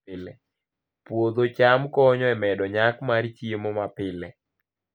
Puodho cham konyo e medo nyak mar chiemo mapile